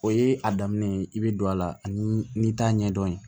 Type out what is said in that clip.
O ye a daminɛ ye i bɛ don a la ani t'a ɲɛdɔn